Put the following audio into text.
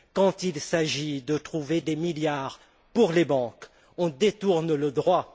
Quand il s'agit de trouver des milliards pour les banques, on détourne le droit.